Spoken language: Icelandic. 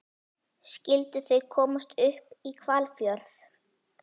Skyldu þau komast upp í Hvalfjörð?